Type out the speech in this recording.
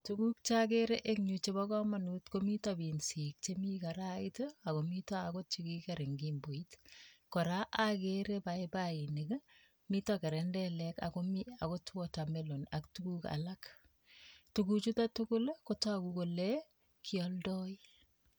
Tuguk cheakere emg yu chepo komonut komito pinsik chemi karait, akomito akot chekikiker eng kimboit. Kora akere paipainik, mito kerendelek akomi akot water mellon ak tuguk alak. Tukuchuto tukul kotoku kole, kialdoi.